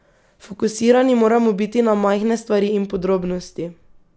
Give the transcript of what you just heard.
Fokusirani moramo biti na majhne stvari in podrobnosti.